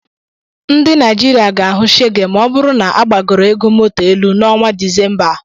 Ndị Naijiria ga-ahụ shege ma ọ bụrụ na agbagoro ego moto elu n'ọnwa Disemba a.